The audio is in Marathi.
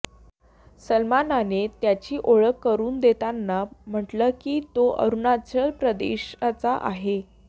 सलमानने त्याची ओळख करून देताना म्हटलं की तो अरुणाचल प्रदेशचा आहे